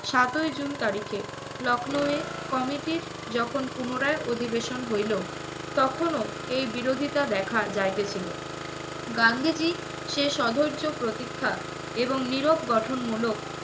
সাতই জুন তারিখে, লখনৌয়ে committee র যখন পুনরায় অধিবেশন হইলো তখনও এই বিরোধিতা দেখা যাইতেছিলো। গান্ধীজী সে স্ব-ধৈর্য প্রতীক্ষা এবং নীরব গঠনমূলক